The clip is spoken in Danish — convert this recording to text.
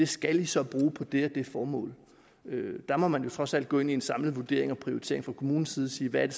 skal de så bruge på det og det formål der må man jo trods alt gå ind i en samlet vurdering og prioritering fra kommunens side og sige hvad